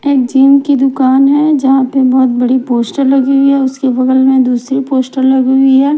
एक जिओ की दुकान है जहाँ पे बहुत बड़ी पोश्टर लगी हुई है उसके बगल में दूसरी पोश्टर लगी हुई है।